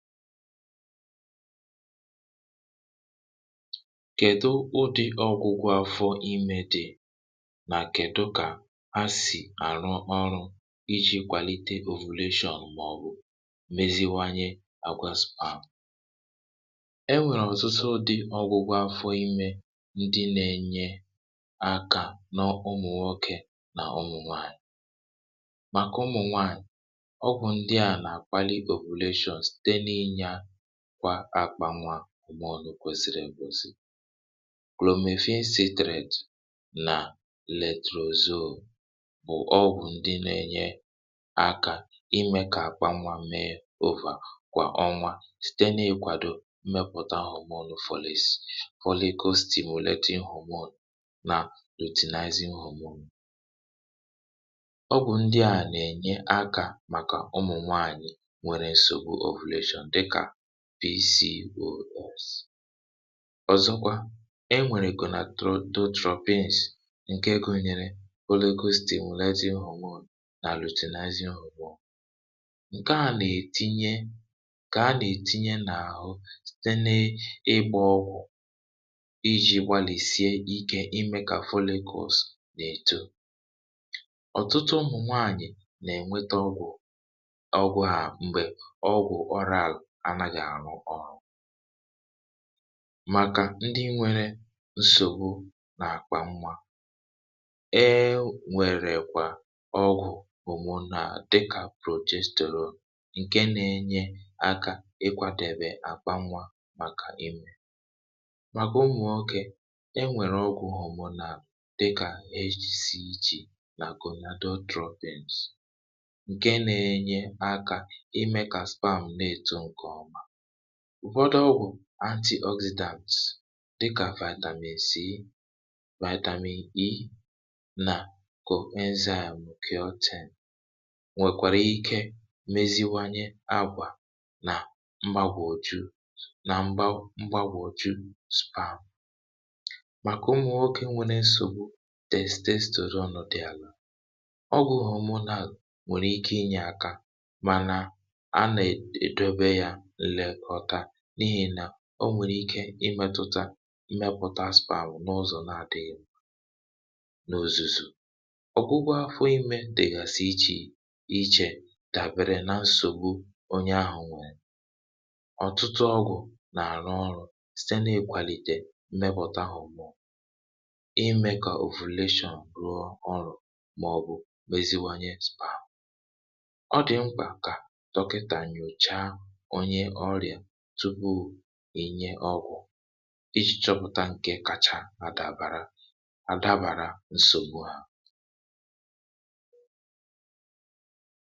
kèdu ụdị ọgwụgwọ afọ imė dị̀? nà kèdu kà ha sì àrụ ọrụ iji̇ kwàlite ovelachon, màọ̀bụ̀ meziwanye àgwaz, ma e nwèrè ọ̀sụsụ? ụdị ọgwụgwọ afọ imė, ndị nȧ-ėnye akȧ n’ụmụ̀ nwokė nà ụmụ̀ nwaànyị̀. màkà ụmụ̀ nwaànyị̀, ọgwụ̀ ndị à nà-àkpali kwa akpȧ nwa, ọmụṅụ̀, kwesìrì èbùosi, klọ̀mefì, acidity, nà nitrozoene — bụ̀ ọgwụ̀ ndị nȧ-ėnye akȧ imė kà akpȧ nwa mee ọvà, kwà ọnwȧ, site na-ekwadọ mmepụ̀ta hà. ọmụṅụ̀ folic, folicostimulata nhụmụ̀, nà otinȧzị nhụmụ̀, ọmụ̀, ọgwụ̀ ndị à nà-ènye akȧ màkà ụmụ̀ nwaànyị̀. pcns. ọ̀zọkwa e nwèrè kà nà tototropins, ǹke gụ̀nyèrè olegositèmuleti nhụ̀ñụ, nà àlụtụnazị nhụ̀ñụ, ǹke nà-ètinye kà a nà-ètinye n’àhụ site n’ịgbȧ ọgwụ̀ iji̇ gbalìsie ike ime ka folicers n’èto. ọ̀tụtụ ụmụ̀ nwaànyị̀ nà-ènweta ọgwụ̀ ọgwụ hà m̀gbè ọgwụ̀ ọrụ àlụ̀, maka ndị nwėrė nsògbu n’àkpa nwa. ee, nwèrè kwà ọgwụ̀ homo nà dịkà protestola, ǹke nȧ-enye akȧ ị kwȧdȧbè àkpa nwa màkà imė. màkà umù oké, e nwèrè ọgwụ̀ homo nà dịkà ejiji ichè, nà àgònado choppings, ǹke nȧ-enye akȧ imė kà sperm na-ètù. ǹkè ȯ, ụ̀fọdụ ọgwụ̀ anti-acidam dịkà Vitamin C, Vitamin E, nà cocoa enzyme, kà o tèe, nwekwàrà ike meziwanye agwà nà m̀gbagwò juu. nà m̀gbagwò juu sprá, màkà ụmụ̀ nwokė nwere nsògbu test test óro nọ̀ dị alụ̀. ọgwụ̀ nwèrè imụ̀ nà nwèrè ike inyė àkà, mànà a nà è dobe ya. o nwèrè ike imėtụ̇tȧ imėpụ̀tà spȧ, hụ̀ n’ọzọ̀, na-adị̇ghị̇ nà òzùzù. ọ̀gwụgwọ fọ imė dị̀ghàsi ichè ichè, dàbịrị na nsògbu onye ahụ̀. nwụ̇ ọ̀tụtụ ọgụ̀ nà-àrụ ọrụ̇ site na-èkwalite mmẹkpụ̇tȧ hụ̀ mmụọ imė, kà ovelation ruo ọrụ̇, màọ̀bụ̀ meziwanye spam. ọ dị̀ mkpà kà tọkịtà nyòcha onye ọgwụ̇, iji̇ chọpụ̀ta ǹkè kacha àdabara àdabara nsògbu à.